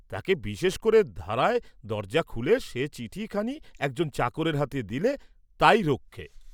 তাকে বিশেষ ক'রে ধরায় দরজা খুলে সে চিঠি খানি একজন চাকরের হাতে দিলে, তাই রক্ষে।